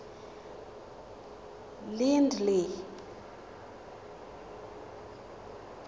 lindley